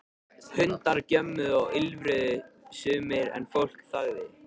Hundar gjömmuðu og ýlfruðu sumir en fólk þagði.